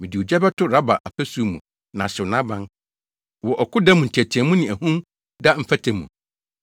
Mede ogya bɛto Raba afasu mu na ahyew nʼaban wɔ ɔko da mu nteɛteɛmu ne ahum da mfɛtɛ mu.